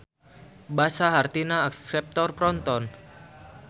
Basa hartina akseptor proton.